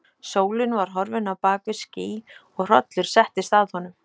Sólin var horfin á bak við ský og hrollur settist að honum.